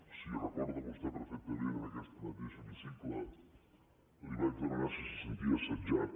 si ho recorda vostè perfectament en aquest mateix hemicicle li vaig demanar si se sentia assetjat